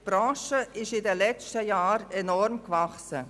Die Branche ist in den letzten Jahren enorm gewachsen.